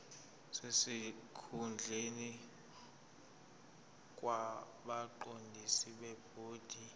sesikhundleni kwabaqondisi bebhodi